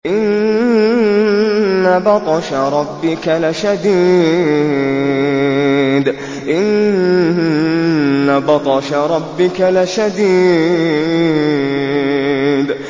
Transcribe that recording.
إِنَّ بَطْشَ رَبِّكَ لَشَدِيدٌ